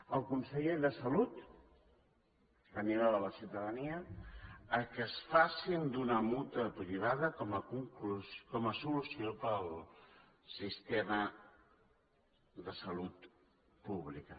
el conseller de salut animava la ciutadania que es facin d’una mútua privada com a solució per al sistema de salut pública